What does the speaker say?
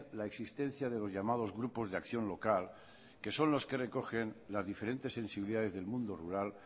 la existencia de los llamados grupos de acción local que son los que recogen las diferentes sensibilidades del mundo rural